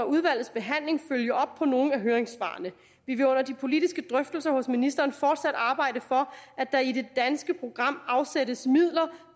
udvalgets behandling følge op på nogle af høringssvarene vi vil under de politiske drøftelser hos ministeren fortsat arbejde for at der i det danske program afsættes midler